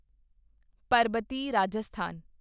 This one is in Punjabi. ਪਰਬਤੀ ਰਾਜਸਥਾਨ